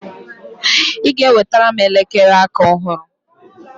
ị ga-enwetara m elekere aka ọhụrụ!